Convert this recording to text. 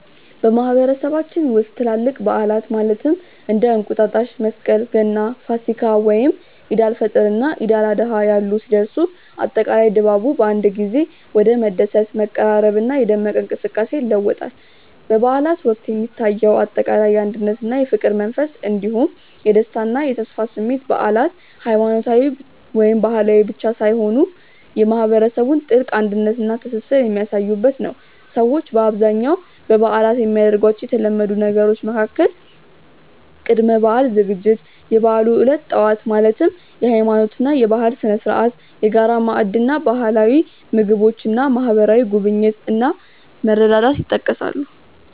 በማህበረሰባችን ውስጥ ትላልቅ በዓላት (እንደ እንቁጣጣሽ፣ መስቀል፣ ገና፣ ፋሲካ፣ ወይም ዒድ አል-ፈጥር እና ዒድ አል-አድሃ ያሉ) ሲደርሱ፣ አጠቃላይ ድባቡ በአንድ ጊዜ ወደ መደሰት፣ መቀራረብና የደመቀ እንቅስቃሴ ይለወጣል። በበዓላት ወቅት የሚታየው አጠቃላይ የአንድነትና የፍቅር መንፈስ እንዲሁም የደስታና የተስፋ ስሜት በዓላት ሃይማኖታዊ ወይም ባህላዊ ብቻ ሳይሆኑ የማህበረሰቡን ጥልቅ አንድነትና ትስስር የሚያሳዩበት ነው። ሰዎች በአብዛኛው በበዓላት የሚያደርጓቸው የተለመዱ ነገሮች መካከል ቅድመ-በዓል ዝግጅት፣ የበዓሉ ዕለት ጠዋት (የሃይማኖትና የባህል ስነ-ስርዓት)፣የጋራ ማዕድ እና ባህላዊ ምግቦች እና ማህበራዊ ጉብኝት እና መረዳዳት ይጠቀሳሉ።